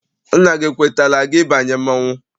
Nna gị ekwetala gị ịbanye mmọnwụ?